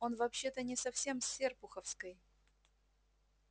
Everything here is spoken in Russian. он вообще-то не совсем с серпуховской